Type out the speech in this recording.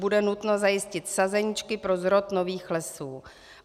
Bude nutno zajistit sazeničky pro zrod nových lesů.